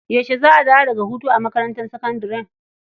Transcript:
Yaushe za a dawo daga hutu a makarantar sakandare?